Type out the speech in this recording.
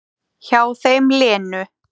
Hjá þeim Lenu.